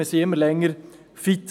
Wir sind immer länger fit;